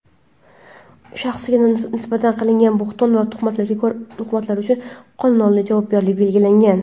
shaxsga nisbatan qilingan bo‘hton va tuhmatlar uchun qonun oldida javobgarlik belgilangan.